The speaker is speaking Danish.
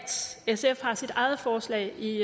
sf har sit eget forslag i